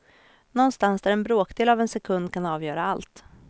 Någonstans där en bråkdel av en sekund kan avgöra allt.